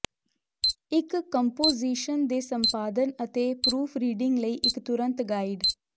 ਇੱਕ ਕੰਪੋਜੀਸ਼ਨ ਦੇ ਸੰਪਾਦਨ ਅਤੇ ਪਰੂਫਰੀਡਿੰਗ ਲਈ ਇੱਕ ਤੁਰੰਤ ਗਾਈਡ